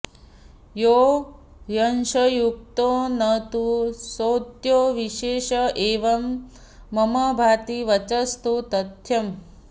यो ह्यंशयुक्तो न तु सोंत्यो विशेष एवं ममाभाति वचस्तु तथ्यम्